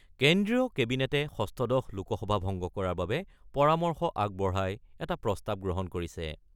কেন্দ্ৰীয় কেবিনেটে ষষ্ঠদশ লোকসভা ভংগ কৰাৰ বাবে পৰামৰ্শ আগবঢ়াই এটা প্ৰস্তাৱ গ্ৰহণ কৰিছে।